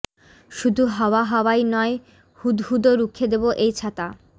শুধু হাওয়া হাওয়াই নয় হুদহুদও রুখে দেব এই ছাতা